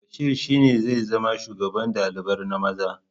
Bashir shi ne zai zama shugaban ɗalibar na maza